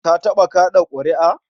Ka taɓa kaɗa ƙuri'a?